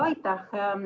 Aitäh!